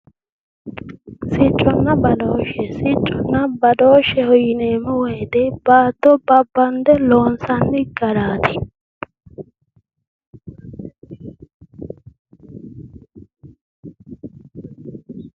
Sicconna badooshshe yineemmo woyite baatto babbanide loonissanni garaati